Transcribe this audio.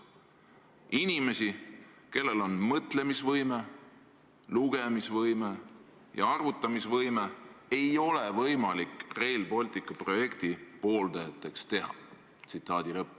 Inimesi, kellel on mõtlemisvõime, lugemisvõime ja arvutamisvõime, ei ole võimalik Rail Balticu pooldajateks teha.